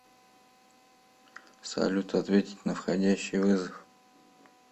салют ответить на входящий вызов